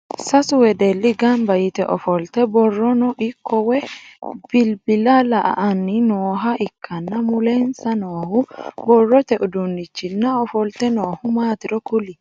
Sasu wedeli ganba yite ofolte borronno ikko woyi bilbila la'anni nooha ikanna mulensa noohu borrote uduunichinna ofolte noohu maatiro kuli?